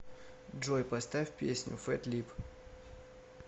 джой поставь песню фэт лип